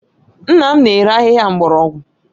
Nna m na-ere ahịhịa mgbọrọgwụ